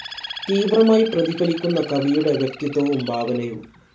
തീവ്രമായി പ്രതിഫലിക്കുന്ന കവിയുടെ വ്യക്തിത്വവും ഭാവനയും.